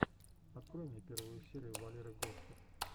открой мне первую серию валеры гостер